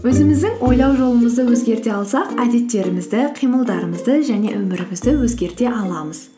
өзіміздің ойлау жолымызды өзгерте алсақ әдеттерімізді қимылдарымызды және өмірімізді өзгерте аламыз